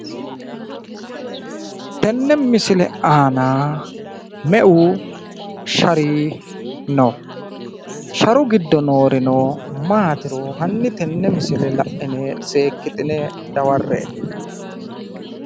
tenne misile aana meu shari no? sharu giddo noorino maatiro hanni tenne misile la'ine seekkitine dawarre''e.